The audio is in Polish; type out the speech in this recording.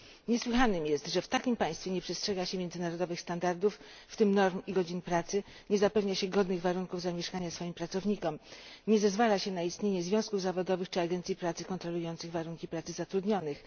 Niesłychanym jest, że w takim państwie nie przestrzega się międzynarodowych standardów, w tym norm i godzin pracy, nie zapewnia się godnych warunków zamieszkania swoim pracownikom, nie zezwala się na istnienie związków zawodowych czy agencji pracy kontrolujących warunki pracy zatrudnionych.